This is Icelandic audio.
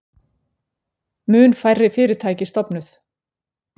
Mun færri fyrirtæki stofnuð